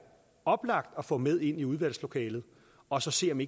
oplagt at få med ind i udvalgslokalet og så se om